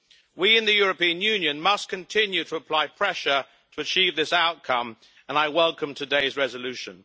We, in the European Union, must continue to apply pressure to achieve this outcome, and I welcome today's resolution.